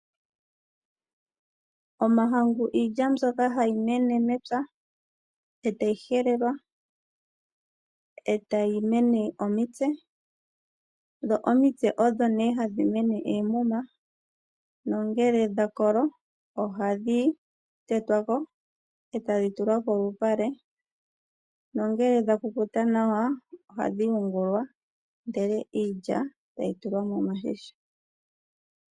Omahangu iilya mbyoka hayi mene mepya, eta yi helelwa, eta yi mene omitse, dho omitse odho nduno hadhi mene oomuma, nongele dha kolo, ohadhi tetwa ko etadhi tulwa polupale, nongele dha kukuta nawa, ohadhi yungulwa, ndele iilya tayi tulwa miigandhi.